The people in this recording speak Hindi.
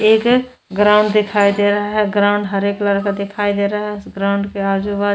एक ग्राउंड दिखाई दे रहा है ग्राउंड हरे कलर का दिखाई दे रहा है ग्राउंड के आजु बा --